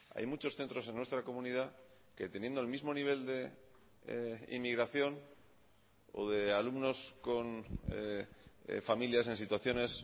hay muchos centros en nuestra comunidad que teniendo el mismo nivel de inmigración o de alumnos con familias en situaciones